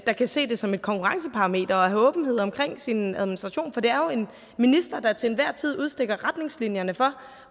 der kan se det som et konkurrenceparameter at have åbenhed omkring sin administration for det er jo en minister der til enhver tid udstikker retningslinjerne for